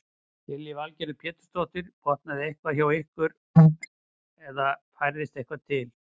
Lillý Valgerður Pétursdóttir: Brotnaði eitthvað hjá ykkur eða færðist eitthvað til?